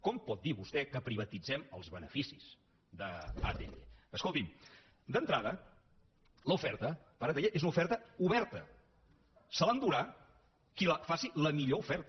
com pot dir vostè que privatitzem els beneficis d’atll escolti’m d’entrada l’oferta per atll és una oferta oberta se l’endurà qui faci la millor oferta